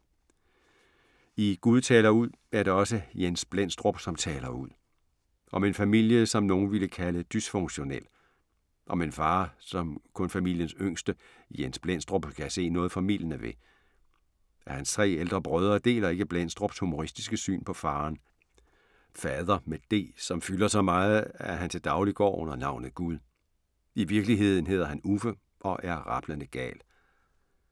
I "Gud taler ud", er det også Jens Blendstrup, som taler ud. Om en familie som nogle ville kalde dysfunktionel. Om en far, som kun familiens yngste, Jens Blendstrup, kan se noget formildende ved. Hans tre ældre brødre deler ikke Blendstrups humoristiske syn på faderen. Fader med d, som fylder så meget, at han til daglig går under navnet Gud. I virkeligheden hedder han Uffe og er rablende gal.